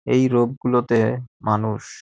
এই রোপ -গুলোতেএএ মানুষ--